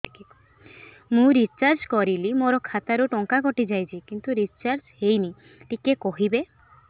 ମୁ ରିଚାର୍ଜ କରିଲି ମୋର ଖାତା ରୁ ଟଙ୍କା କଟି ଯାଇଛି କିନ୍ତୁ ରିଚାର୍ଜ ହେଇନି ଟିକେ କହିବେ